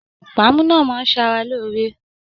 Pàámú náà máa n s'ára lóore.